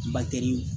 Matɛrɛli